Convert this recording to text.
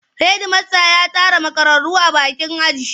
Hedimasta ya tare makararru a bakin aji.